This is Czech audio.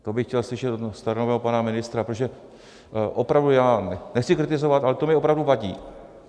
To by chtěl slyšet od staronového pana ministra, protože opravdu já nechci kritizovat, ale to mi opravdu vadí.